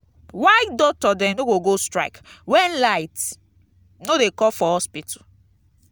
why doctor dem no go go strike wen light no dey come for hospital?